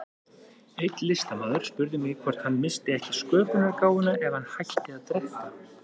Einn listamaður spurði mig hvort hann missti ekki sköpunargáfuna ef hann hætti að drekka.